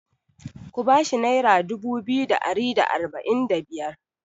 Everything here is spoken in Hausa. Ku ba shi naira dubu biyu da ari da arba'in da biyar!